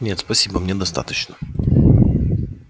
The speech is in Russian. нет спасибо мне достаточно